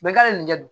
Bɛɛ k'ale nin kɛ don